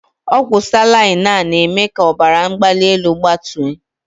Ọgwụ salaịn aa na- eme k'ọbara mgbalị enu gbatuo.